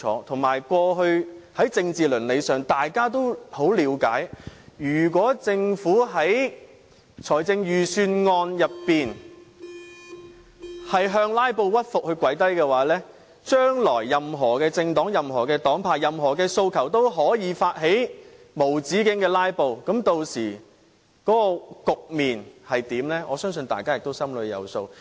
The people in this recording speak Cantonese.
而且，過去在政治倫理上，大家也很了解如果政府在預算案中向"拉布"屈服、跪低，將來若任何政黨、任何黨派有任何訴求，也可以發起無止境"拉布"，屆時局面會如何，我相信大家也心裏有數。